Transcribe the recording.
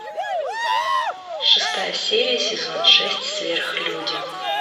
шестая серия сезон шесть сверхлюди